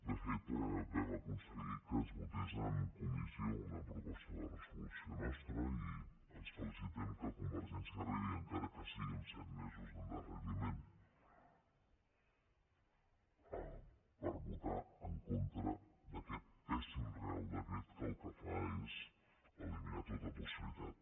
de fet vam aconseguir que es votés en comissió una proposta de resolució nostra i ens felicitem que convergència arribi encara que sigui amb set mesos d’endarreriment per votar en contra d’aquest pèssim reial decret que el que fa és eliminar tota possibilitat